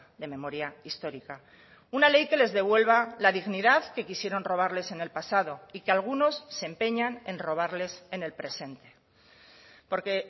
de memoria histórica una ley que les devuelva la dignidad que quisieron robarles en el pasado y que algunos se empeñan en robarles en el presente porque